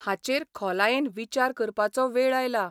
हाचेर खोलायेन विचार करपाचो वेळ आयला.